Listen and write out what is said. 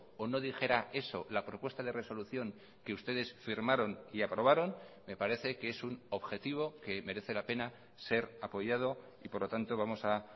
o no dijera eso la propuesta de resolución que ustedes firmaron y aprobaron me parece que es un objetivo que merece la pena ser apoyado y por lo tanto vamos a